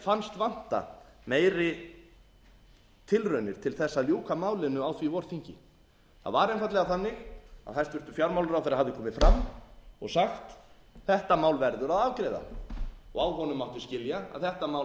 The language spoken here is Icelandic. fannst vanta meiri tilraunir til þess að ljúka málinu á því vorþingi það var einfaldlega þannig að hæstvirtur fjármálaráðherra hafði komið fram og sagt þetta mál verður að afgreiða á honum mátti skilja að þetta mál hefði átt